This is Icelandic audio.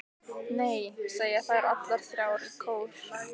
Nei, segja þær allar þrjár í kór.